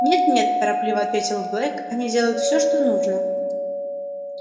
нет нет торопливо ответил блэк они делают все что нужно